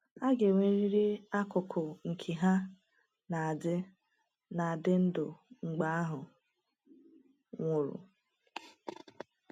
A ga-enwerịrị akụkụ nke ha na-adị na-adị ndụ mgbe ahụ nwụrụ.